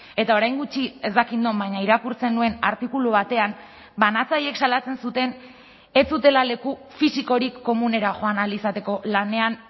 eta orain gutxi ez dakit non baina irakurtzen nuen artikulu batean banatzaileek salatzen zuten ez zutela leku fisikorik komunera joan ahal izateko lanean